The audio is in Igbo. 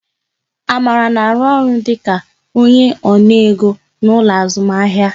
Amara na arụ ọrụ dịka onye ona ego n'ụlọ azụmahịa